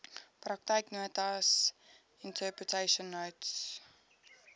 praktyknotas interpretation notes